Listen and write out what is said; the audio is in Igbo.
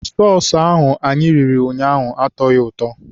Sọọsụ ahụ anyị riri ụnyaahụ atọghị ụtọ.